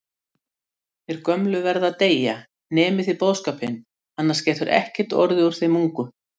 Þeir gömlu verða að deyja, nemið þið boðskapinn, annars getur ekkert orðið úr þeim ungu